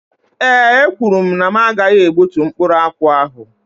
Ee ekwuru mụ na m gaghị egbútú mkpụrụ akwụ ahụ.